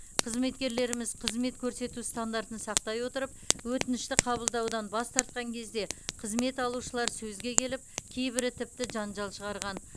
қызметкерлеріміз қызмет көрсету стандартын сақтай отырып өтінішті қабылдаудан бас тартқан кезде қызмет алушылар сөзге келіп кейбірі тіпті жанжал шығарған